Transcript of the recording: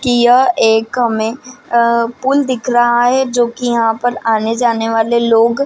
यह एक हमे अ पूल दिख रहा है जो की यहाँ पर आने जाने वाले लोग --